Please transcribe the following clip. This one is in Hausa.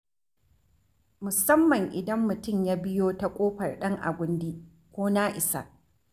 Musamman idan mutum ya biyo ta ƙofar Ɗan'agundi ko Na'isa